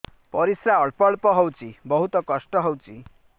ପରିଶ୍ରା ଅଳ୍ପ ଅଳ୍ପ ହଉଚି ବହୁତ କଷ୍ଟ ହଉଚି